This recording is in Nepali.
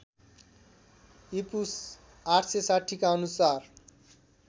ईपू ८६० का अनुसार